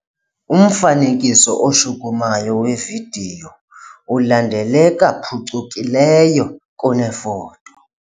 Umfanekiso oshukumayo wevidiyo ulandeleka phucukileyo kunefoto.